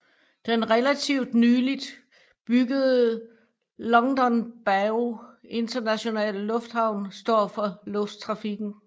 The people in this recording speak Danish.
Den relativt nylig byggede Longdongbao Internationale Lufthavn står for lufttrafikken